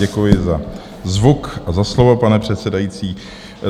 Děkuji za zvuk a za slovo, pane předsedající.